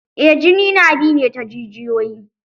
Eh jini na bi ne ta jijiyoyi.